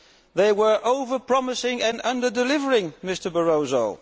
They were over promising and under delivering, Mr Barroso.